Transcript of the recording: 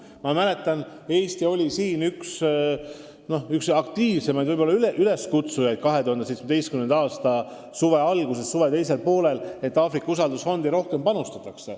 Ma mäletan, et Eesti oli 2017. aasta suve alguses ja suve teisel poolel vahest üks aktiivsemaid üleskutsujaid, et Aafrika usaldusfondi rohkem panustataks.